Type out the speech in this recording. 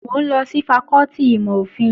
Mò ń lọ sí fakọ́tì ìmọ̀-òfin